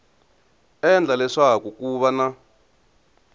endla leswaku ku va na